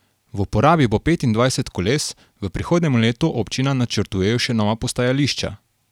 V uporabi bo petindvajset koles, v prihodnjem letu občina načrtujejo še nova postajališča.